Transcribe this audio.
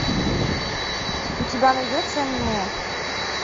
у тебя найдется аниме